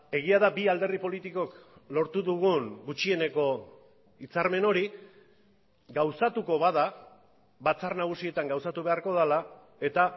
egia da bi alderdi politikok lortu dugun gutxieneko hitzarmen hori gauzatuko bada batzar nagusietan gauzatu beharko dela eta